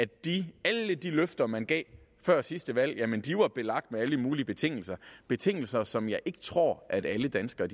de løfter man gav før sidste valg var belagt med alle mulige betingelser betingelser som jeg ikke tror at alle danskere